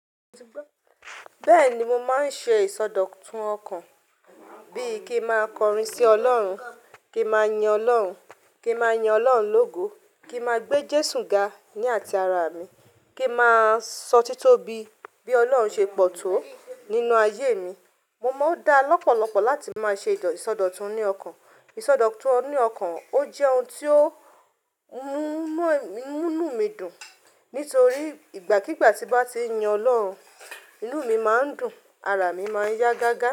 Bẹ́ẹ̀ni mo máa ń ṣe ìsọdọ̀tun ọkàn bí i kí máa kọrin sí Ọlọ́run, kí máa yan Ọlọ́run, kí máa yan Ọlọ́run lógo, kí ma gbé Jésù ga ní àti ara mi, kí ma sọ títóbi bí Ọlọ́run ṣe pọ̀ tó nínú ayé mi. Mo máa ń dá lọ́pọ̀lọpọ̀ láti máa ṣe ìsọdọ̀tun ní ọkàn. Isọdọ̀tun ní ọkàn ó jẹ́ ohun tó ń mú ń mú mí dùn nítorí ìgbàkígbà tí mo bá ti yin Ọlọ́run, inú mi máa ń dùn, ara mi máa ń yá gágá.